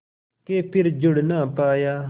के फिर जुड़ ना पाया